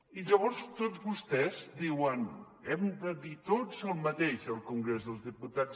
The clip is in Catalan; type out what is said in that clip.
i llavors tots vostès diuen hem de dir tots el mateix al congrés dels diputats